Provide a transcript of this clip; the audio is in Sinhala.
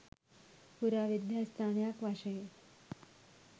පුරාවිද්‍යා ස්ථානයක් වශයෙන්